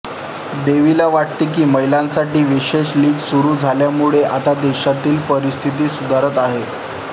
देवीला वाटते की महिंलासाठी विशेष लीग सुरू झाल्यामुळे आता देशातील परिस्थिती सुधारत आहे